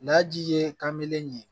N'a ji ye kan bɛle